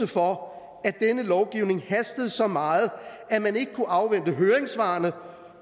for at denne lovgivning hastede så meget at man ikke kunne afvente høringssvarene